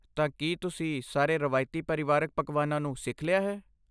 ਤਾਂ ਕੀ ਤੁਸੀਂ ਸਾਰੇ ਰਵਾਇਤੀ ਪਰਿਵਾਰਕ ਪਕਵਾਨਾਂ ਨੂੰ ਸਿੱਖ ਲਿਆ ਹੈ?